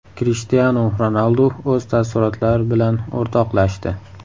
Krishtianu Ronaldu o‘z taassurotlari bilan o‘rtoqlashdi.